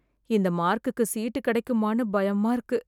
இந்த மார்க்குக்கு சீட்டு கிடைக்குமான்னு பயமா இருக்கு